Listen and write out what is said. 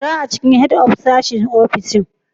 Jira a cikin Head of sashen ofishin.